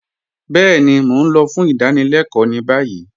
Bẹẹni, Mó n lọ̀ fún ìdánílẹ̀kọ ni bayí